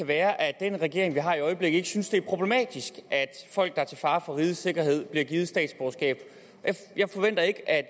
være at den regering vi har i øjeblikket ikke synes at det er problematisk at folk der er til fare for rigets sikkerhed bliver givet statsborgerskab jeg forventer ikke at